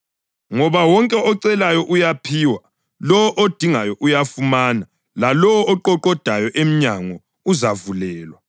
Ngoba wonke ocelayo uyaphiwa; lowo odingayo uyafumana; lalowo oqoqoda emnyango uzavulelwa.